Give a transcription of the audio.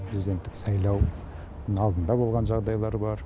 президенттік сайлау алдында болған жағдайлар бар